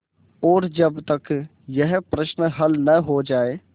और जब तक यह प्रश्न हल न हो जाय